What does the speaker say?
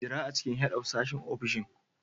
Jira a cikin Head of sashen ofishin.